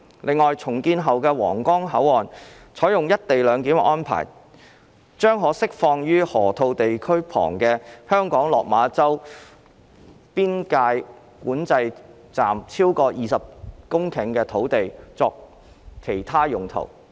另外，重建後的皇崗口岸採用"一地兩檢"安排，將可釋放位於河套地區旁的香港落馬洲邊境管制站超過20公頃土地作其他用途。